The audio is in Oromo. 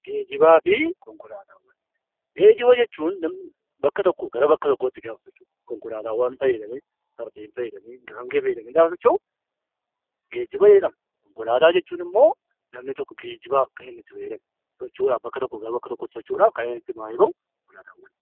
Geejjibaa fi Konkolaataawwan. Geejjiba jechuun namni bakka tokkoo gara bakka biraatti yoo socho'u; konkolaataawwan fayyadamee, Fardeen fayyadamee, Gaangee fayyadamee gaafa socho'u jedhama. Konkolaataawwan jechuun immoo namani tokko geejjibaaf kan itti fayyadamu, socho'uudhaaf bakka tokkoo gara bakka biraatti kan inni itti maayii ba'u konkolaataawwan jedhama.